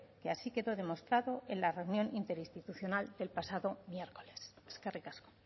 que así quedó demostrado en la reunión interinstitucional del pasado miércoles eskerrik asko